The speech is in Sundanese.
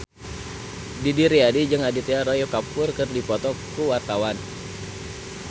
Didi Riyadi jeung Aditya Roy Kapoor keur dipoto ku wartawan